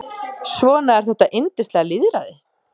Svona er þetta yndislega lýðræði.